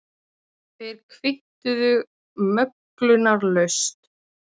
Þeir kvittuðu möglunarlaust.